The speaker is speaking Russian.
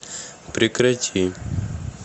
прекрати